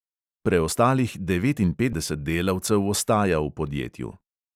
Preostalih devetinpetdeset delavcev ostaja v podjetju.